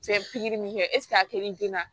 pikiri kɛ ɛsike a terila